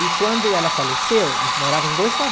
E quando ela faleceu, eles moravam os dois